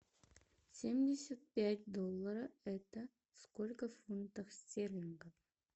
семьдесят пять доллара это сколько в фунтах стерлинга